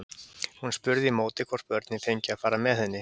Hún spurði í móti hvort börnin fengju að fara með henni.